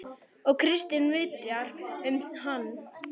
Og Kristín vitjar um hana.